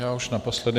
Já už naposledy.